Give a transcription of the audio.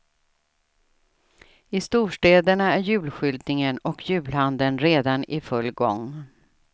I storstäderna är julskyltningen och julhandeln redan i full gång.